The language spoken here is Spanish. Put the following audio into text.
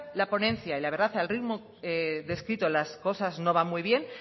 la ponencia y la verdad que el ritmo descrito las cosas no van muy bien